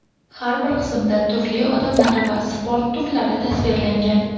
Har bir qismda turli odamlar va sport turlari tasvirlangan.